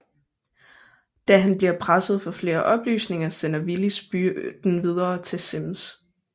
Da han bliver presset for flere oplysninger sender Willis byrden videre til Simms